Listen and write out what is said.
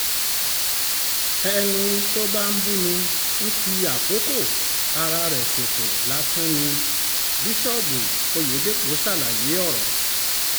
ẹni tó bá ń bú mi ń fi àkókò ara ẹ̀ ṣòfò lásán ni bíṣọ́ọ̀bù ọ̀yẹ́dẹ́pọ̀ ṣàlàyé ọ̀rọ̀